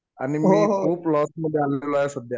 आणि मी खूप लॉस मध्ये आलेलो आहे सध्या.